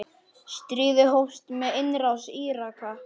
Stríðið hófst með innrás Íraka.